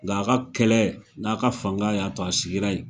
Nka a ka kɛlɛ n'a ka fanga y'a to a sigira ye.